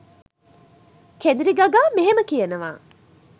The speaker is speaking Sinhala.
කෙඳිරි ගගා මෙහෙම කියනවා.